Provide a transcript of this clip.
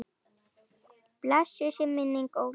Blessuð sé minning Ólafs.